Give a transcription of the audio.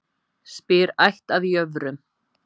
Spyr ætt að jöfrum.